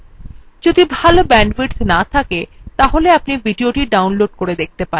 যদি ভাল bandwidth না থাকে তাহলে আপনি ভিডিওটি download করে দেখতে পারেন